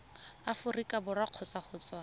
aforika borwa kgotsa go tswa